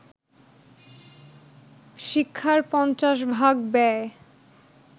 শিক্ষার পঞ্চাশ ভাগ ব্যয়